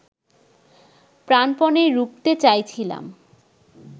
প্রাণপণে রুখতে চাইছিলাম